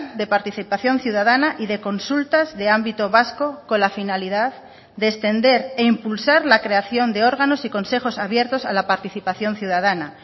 de participación ciudadana y de consultas de ámbito vasco con la finalidad de extender e impulsar la creación de órganos y consejos abiertos a la participación ciudadana